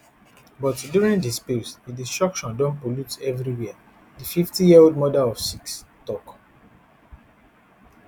but during di spills di destruction don pollute evriwia di fiftyyearold mother of six tok